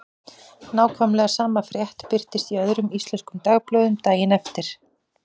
Nákvæmlega sama frétt birtist í öðrum íslenskum dagblöðum daginn eftir.